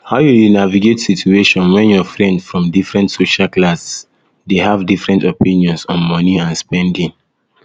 how you dey navigate situation when your friend from different social class dey have different opinions on money and spending